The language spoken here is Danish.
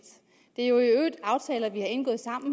er jo i øvrigt aftaler vi har indgået sammen